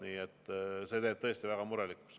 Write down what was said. Nii et see teeb tõesti väga murelikuks.